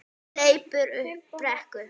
Hleypur upp brekku.